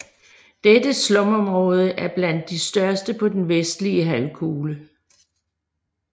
Dette slumområde er blandt de største på den vestlige halvkugle